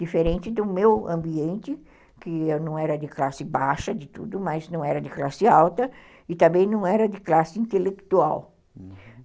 Diferente do meu ambiente, que eu não era de classe baixa de tudo, mas não era de classe alta e também não era de classe intelectual, uhum.